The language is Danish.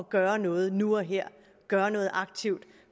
gøre noget nu og her gøre noget aktivt